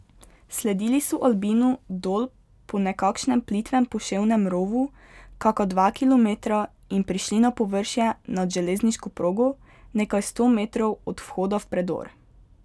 Sledili so albinu dol po nekakšnem plitvem poševnem rovu kaka dva kilometra in prišli na površje nad železniško progo, nekaj sto metrov od vhoda v predor.